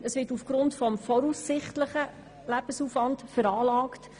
Es wird aufgrund des voraussichtlichen Lebensaufwands veranlagt.